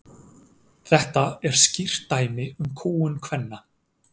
þetta er skýrt dæmi um kúgun kvenna